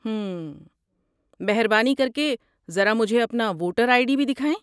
ہمم۔ مہربانی کر کے ذرا مجھے اپنی ووٹر آئی ڈی بھی دکھائیں۔